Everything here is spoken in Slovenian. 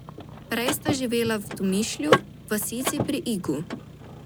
Prej sta živela v Tomišlju, vasici pri Igu.